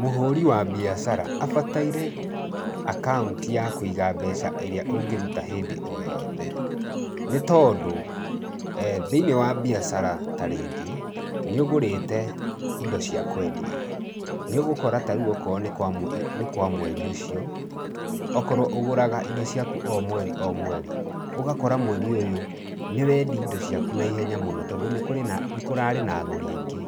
Mũhũri wa mbiacara abataire akaunti ya kũiga mbeca ĩrĩa ũngĩruta hĩndĩ o yothe, nĩ tondũ thĩiniĩ wa biacara ta rĩngĩ nĩ ũgũrĩte indo cia kwendia nĩ ũgũkora ta rĩu okorwo nĩ nĩ kwa mweri ũcio, okorwo ũgũraga indo ciaku o mweri o mweri ũgakora mweri ũyũ nĩ wendia indo ciaku na ihenya mũno tondũ nĩ kũrĩ nĩ kũrarĩ na agũri aingĩ.